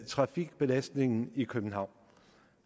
trafikbelastningen i københavn